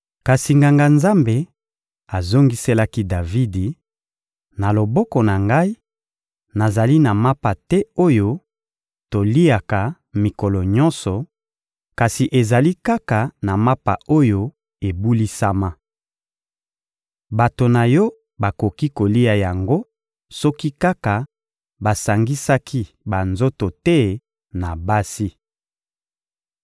Kasi Nganga-Nzambe azongiselaki Davidi: — Na loboko na ngai, nazali na mapa te oyo toliaka mikolo nyonso, kasi ezali kaka na mapa oyo ebulisama. Bato na yo bakoki kolia yango soki kaka basangisaki banzoto te na basi.